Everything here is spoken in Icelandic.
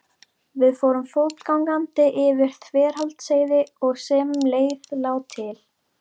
Við fórum fótgangandi yfir Þverdalsheiði og sem leið lá til